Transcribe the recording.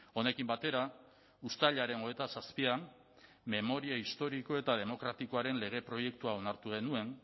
honekin batera uztailaren hogeita zazpian memoria historiko eta demokratikoaren lege proiektua onartu genuen